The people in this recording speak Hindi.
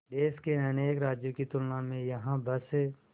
देश के अनेक राज्यों की तुलना में यहाँ बस